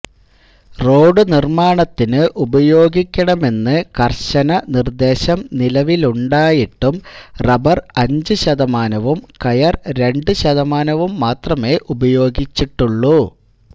റോഡുനിർമാണത്തിന് ഉപയോഗിക്കണമെന്ന് കർശന നിർദേശം നിലവിലുണ്ടായിട്ടും റബ്ബർ അഞ്ചുശതമാനവും കയർ രണ്ട് ശതമാനവും മാത്രമേ ഉപയോഗിച്ചിട്ടുള്ളൂ